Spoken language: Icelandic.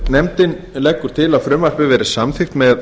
nefndin leggur til að frumvarpið verði samþykkt með